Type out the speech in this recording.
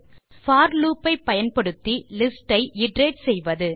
போர் loop ஐ பயன்படுத்தி list ஐ இட்டரேட் செய்வது